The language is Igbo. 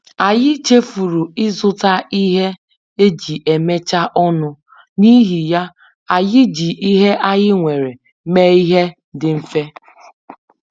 Anyị chefuru ịzụta ihe eji emechaa ọnụ, n’ihi ya, anyị ji ihe anyị nwere mee ihe dị mfe